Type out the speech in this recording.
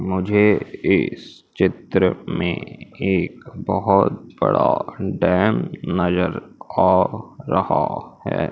मुझे इस चित्र में एक बहोत बड़ा डैम नजर आ रहा है।